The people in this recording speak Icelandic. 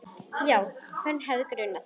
Já, hvern hefði grunað?